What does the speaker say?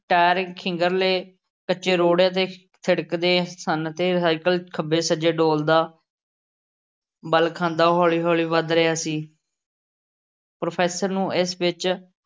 Tyre ਖਿੰਗਰੀਲੇ ਕੱਚੇ ਰੋੜਿਆਂ ਤੇ ਥਿੜਕਦੇ ਸਨ ਤੇ ਸਾਈਕਲ ਖੱਬੇ-ਸੱਜੇ ਡੋਲਦਾ, ਵਲ਼ ਖਾਂਦਾ ਹੌਲ਼ੀ-ਹੌਲ਼ੀ ਵਧ ਰਿਹਾ ਸੀ। professor ਨੂੰ ਇਸ ਵਿੱਚ